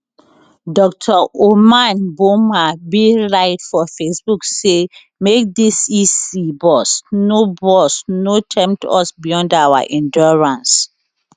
dr omane boamah bin write for facebook say make dis ec boss no boss no tempt us beyond our endurance